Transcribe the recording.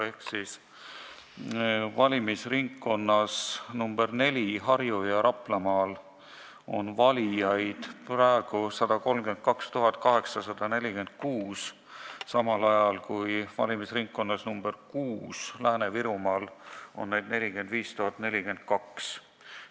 Ehk valimisringkonnas nr 4, Harju- ja Raplamaal, on valijaid praegu 132 846, samal ajal kui valimisringkonnas nr 6, Lääne-Virumaal, on neid 45 042.